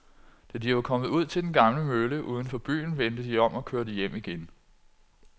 Da de var kommet ud til den gamle mølle uden for byen, vendte de om og kørte hjem igen.